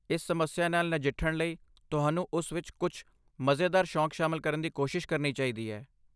ਇਸ ਸਮੱਸਿਆ ਨਾਲ ਨਜਿੱਠਣ ਲਈ ਤੁਹਾਨੂੰ ਉਸ ਵਿੱਚ ਕੁਝ ਮਜ਼ੇਦਾਰ ਸ਼ੌਕ ਸ਼ਾਮਲ ਕਰਨ ਦੀ ਕੋਸ਼ਿਸ਼ ਕਰਨੀ ਚਾਹੀਦੀ ਹੈ।